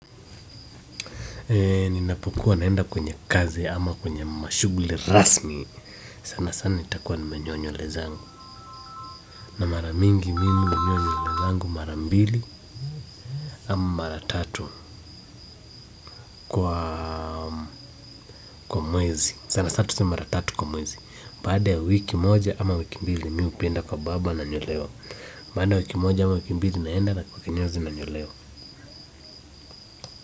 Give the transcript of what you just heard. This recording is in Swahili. Ninapokuwa naenda kwenye kazi ama kwenye mashuguli rasmi sana sana nitakuwa nimenyoa nywele zangu na maramingi mimi hunyoa nywele yangu marambili ama maratatu kwa mwezi sana sana tuseme maratatu kwa mwezi baada ya wiki moja ama wiki mbili mimi huenda kwa barbar nanyolewa baada ya wiki moja ama wiki mbili naenda kwa kinyozi nanyolewa.